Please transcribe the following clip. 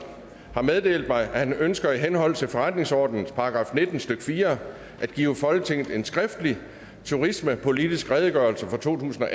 har meddelt mig at han ønsker i henhold til forretningsordenens § nitten stykke fire at give folketinget en skriftlig turismepolitisk redegørelse totusinde